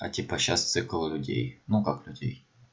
а типа сейчас цикл людей ну как людей